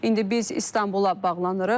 İndi biz İstanbula bağlanırıq.